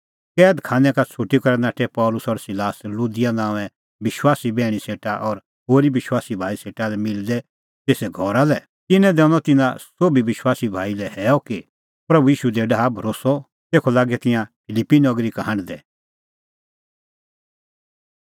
कैद खानै का छ़ुटी करै नाठै पल़सी और सिलास लुदिआ नांओंए विश्वासी बैहणी सेटा और होरी विश्वासी भाई सेटा लै मिलदै तेसे घरा लै तिन्नैं दैनअ तिन्नां सोभी विश्वासी भाई लै हैअ कि प्रभू ईशू दी डाहा भरोस्सअ तेखअ लागै तिंयां फिलिप्पी नगरी का हांढदै